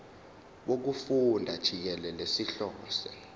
wokufunda jikelele sihlose